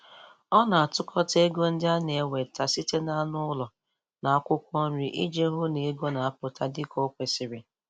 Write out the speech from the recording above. Ọ na-atụkọta ego ndị ọ na-enweta site n'anụ ụlọ na akwụkwọ nri iji hụ na ego na-aputa dịka o kwesịrị.